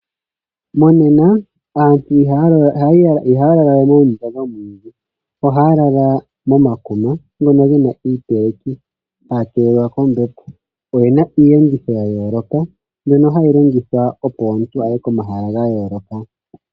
Monena aantu ihaya lala we moondundu dhomwiidhi oha lala momakuma ngono gena iipeleki haya keelelwa kombepo. Oyena iiyenditho yayoloka mbyono hayi longithwa opo omuntu aye komahala gayoloka.